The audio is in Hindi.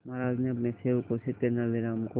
महाराज ने अपने सेवकों से तेनालीराम को